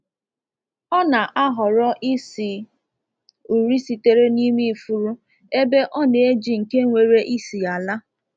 Ọ na-ahọrọ isi uri sitere n’ime ifuru ebe ọ na-eji nke nwere isi ala.